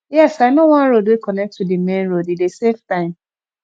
yes i know one road wey connect to di main road e dey save time